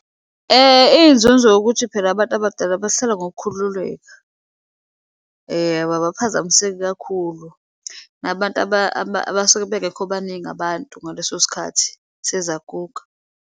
Iyinzunzo yokuthi phela abantu abadala basala ngokukhululeka. Ababaphazamiseki kakhulu, nabantu abasuke bengekho baningi abantu ngaleso sikhathi sezaguga.